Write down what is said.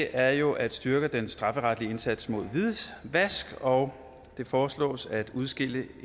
er jo at styrke den strafferetlige indsats mod hvidvask og det foreslås at udskille